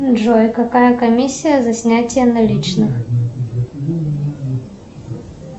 джой какая комиссия за снятие наличных